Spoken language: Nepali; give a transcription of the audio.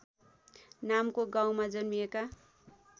नामको गाउँमा जन्मिएका